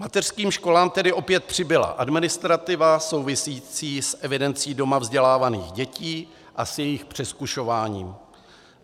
Mateřským školám tedy opět přibyla administrativa související s evidencí doma vzdělávaných dětí a s jejich přezkušováním.